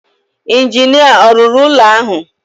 Injinia ọ̀ rụrụ ụlọ ahụ?